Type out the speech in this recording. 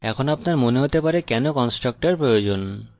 এখন আপনার মনে হতে পারে কেন আমাদের constructors প্রয়োজন